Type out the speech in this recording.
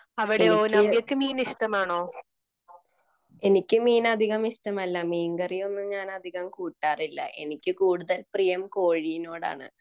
എനിക്ക് എനിക്ക് മീൻ അധികം ഇഷ്ടമല്ല മീന്കറിയൊന്നും ഞാൻ അധികം കൂട്ടാറില്ല എനിക്ക് കൂടുതൽ പ്രിയം കോഴിയോടാണ്